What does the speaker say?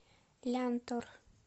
лянтор